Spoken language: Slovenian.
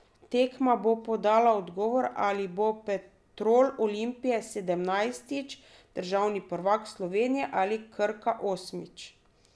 Tekma bo podala odgovor, ali bo Petrol Olimpija sedemnajstič državni prvak Slovenije ali Krka osmič.